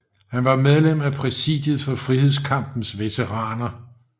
Han var medlem af præsidiet for Frihedskampens Veteraner